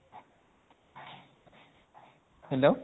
hello